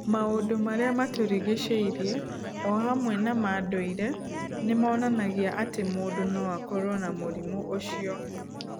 Maũndũ marĩa matũrigicĩirie o hamwe na ma ndũire nĩ monanagia atĩ mũndũ no akorũo na mũrimũ ũcio.